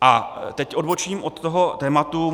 A teď odbočím od toho tématu.